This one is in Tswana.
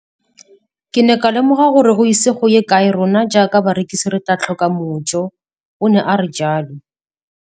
Ke ne ka lemoga gore go ise go ye kae rona jaaka barekise re tla tlhoka mojo, o ne a re jalo.